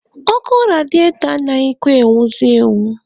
Ọkụ rediatọ anaghịkwa enwuzi enwu.